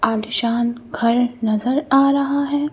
आलेशान घर नजर आ रहा है।